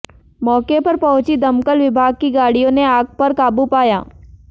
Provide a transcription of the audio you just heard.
मौके पर पहुंची दमकल विभाग की गाडिय़ों ने आग पर काबू पाया